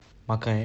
макаэ